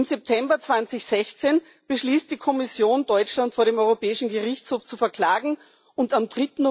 Im September 2016 beschließt die Kommission, Deutschland vor dem Europäischen Gerichtshof zu verklagen, und am